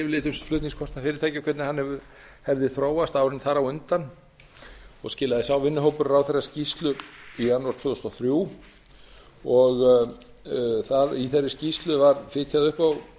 yfirlit um flutningskostnað fyrirtækja og hvernig hann hefði þróast undanfarin ár og skilaði sá vinnuhópurinn ráðherra skýrslu um flutningskostnað í janúar tvö þúsund og þrjú í þeirri skýrslu var fitjað upp